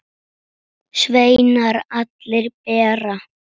Sveinar allir bera.